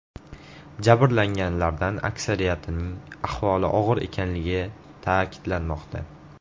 Jabrlanganlardan aksariyatining ahvoli og‘ir ekanligi ta’kidlanmoqda.